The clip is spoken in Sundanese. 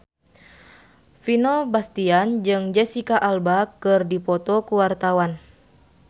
Vino Bastian jeung Jesicca Alba keur dipoto ku wartawan